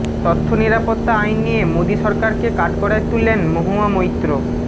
তথ্য নিরাপত্তা আইন নিয়ে মোদি সরকারকে কাঠগড়ায় তুললেন মহুয়া মৈত্র